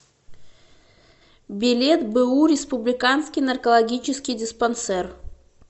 билет бу республиканский наркологический диспансер